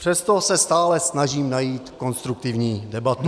Přesto se stále snažím najít konstruktivní debatu.